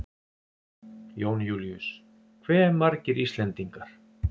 Jón Júlíus: Hve margir Íslendingar?